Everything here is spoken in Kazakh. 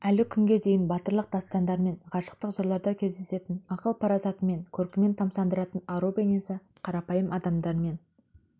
әлі күнге дейін батырлық дастандар мен ғашықтық жырларда кездесетін ақыл-парасатымен көркімен тамсандыратын ару бейнесі қарапайым адамдармен